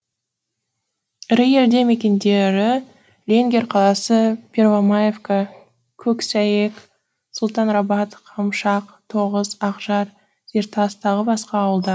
ірі елді мекендері ленгер қаласы первомаевка көксәйек сұлтанрабат қамшақ тоғыс ақжар зертас тағы басқа ауылдар